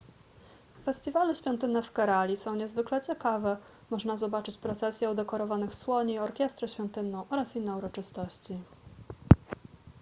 festiwale świątynne w kerali są niezwykle ciekawe można zobaczyć procesję udekorowanych słoni orkiestrę świątynną oraz inne uroczystości